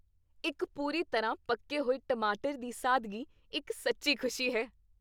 ਇੱਕ ਪੂਰੀ ਤਰ੍ਹਾਂ ਪੱਕੇ ਹੋਏ ਟਮਾਟਰ ਦੀ ਸਾਦਗੀ ਇੱਕ ਸੱਚੀ ਖੁਸ਼ੀ ਹੈ।